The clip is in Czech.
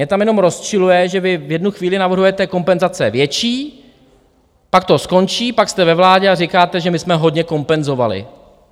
Mě tam jenom rozčiluje, že vy v jednu chvíli navrhujete kompenzace větší, pak to skončí, pak jste ve vládě a říkáte, že my jsme hodně kompenzovali.